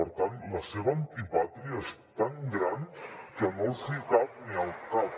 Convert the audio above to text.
per tant la seva antipàtria és tan gran que no els hi cap ni al cap